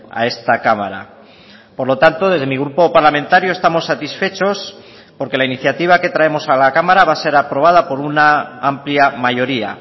a esta cámara por lo tanto desde mi grupo parlamentario estamos satisfechos porque la iniciativa que traemos a la cámara va a ser aprobada por una amplia mayoría